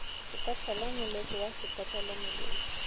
sepetlele molwetši wa sepetlele molwetši